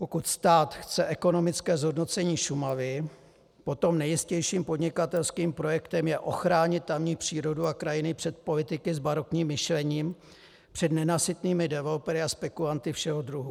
Pokud stát chce ekonomické zhodnocení Šumavy, potom nejjistějším podnikatelským projektem je ochránit tamní přírodu a krajinu před politiky s barokním myšlením, před nenasytnými developery a spekulanty všeho druhu.